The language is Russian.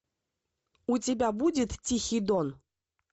у тебя будет тихий дон